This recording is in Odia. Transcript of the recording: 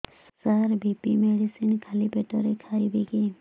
ସାର ବି.ପି ମେଡିସିନ ଖାଲି ପେଟରେ ଖାଇବି କି